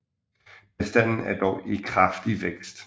Bestanden er dog i kraftig vækst